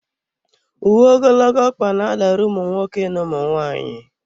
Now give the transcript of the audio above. Uwe ogologo ọkpa na-adara ụmụ nwoke na ụmụ nwaanyị.